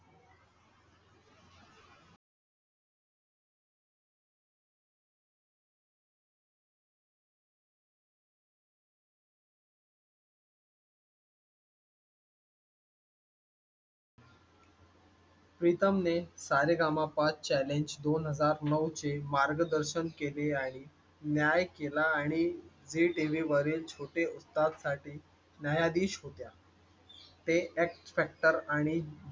प्रीतम ने सा रे गा मा पा challenge दोन हजार नऊ चे मार्गदर्शन केले आहे. न्याय केला आणि झी TV बरेच छोटे उस्ताद साठी न्यायाधीश होत्या. ते xfactor आणि